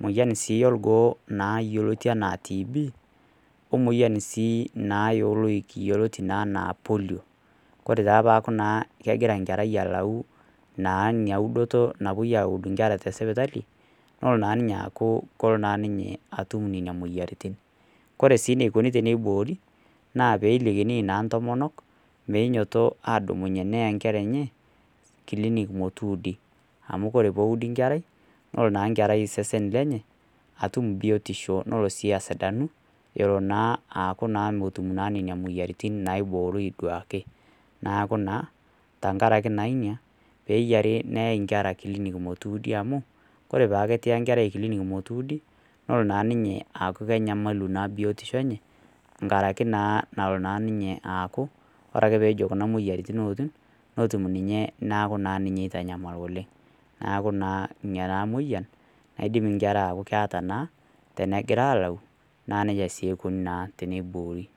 moyian sii olgoo naa yioloti ana TB, we moyian naa oloik yioloti anaa polei. Kore naa peaku kegira enkerai alayu naa ina udoto napuoi aud inkera te sipitaali, nelo naa ninye aaku nelo naa ninye atum nena moyiariti. Kore sii eneikuni eiboori,, naa pee elikini naa intomok, meinypoto aadumunye neya inkera enye, kilinik metuudi. Amu ore teneudi enkerai, nelo naa enkerai osesen lenye atumm biotisho nesiidanu, elo naa aaku metum naa nena moyiarin naibooroyu duuake. Neaku naa ina tenkaraki naa ina, neyiare eriki inkera kilinik metuudi amu, kore ake pee eitu iya enketrai enye nelo naa aaku enyamal naa biotisho eye, enkaraki naa nalo naa ninye aaku, ore ake peejo kuna moyiaritin ewutu, netum ninye neaku eitu naa eitanyamal ninye. Neaku naa ina emoyian, naidim inkera ataaku tanaa egira aalayu, neija naa eikuni naa teneiboori.